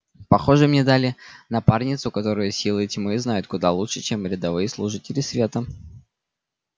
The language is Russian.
похоже мне дали напарницу которую силы тьмы знают куда лучше чем рядовые служители света